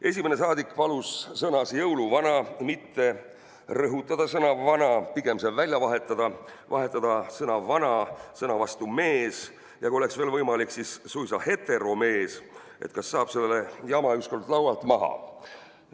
Esimene saadik palus sõnas "jõuluvana" mitte rõhutada sõna "vana", pigem see välja vahetada: vahetada sõna "vana" sõna vastu "mees", ja kui oleks võimalik, siis suisa "heteromees", et saab selle jama ükskord laualt maha.